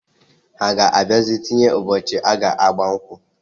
Ha ga abiazi tinye ụbọchi aga agba nkwu.